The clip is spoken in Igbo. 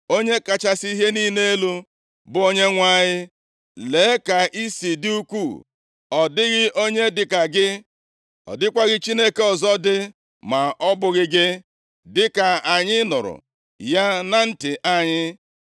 “Onye kachasị ihe niile elu, bụ Onyenwe anyị, lee ka i si dị ukwuu! Ọ dịghị onye dịka gị. Ọ dịkwaghị Chineke ọzọ dị ma ọ bụghị gị, dịka anyị nụrụ ya na ntị anyị.